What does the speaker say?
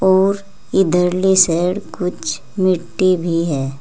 और इधरले साइड कुछ मिट्टी भी है।